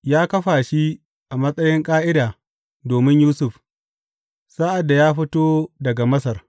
Ya kafa shi a matsayin ƙa’ida domin Yusuf sa’ad da ya fito daga Masar.